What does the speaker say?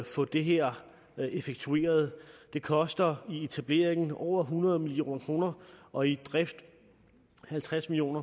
få det her effektueret det koster i etablering over hundrede million kroner og i drift halvtreds million